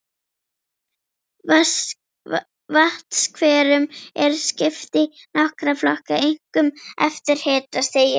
Vatnshverum er skipt í nokkra flokka, einkum eftir hitastigi.